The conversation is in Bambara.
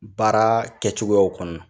Baara kɛcogoyaw kɔnɔ